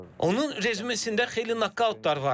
Onun rezümesində xeyli nokautlar var.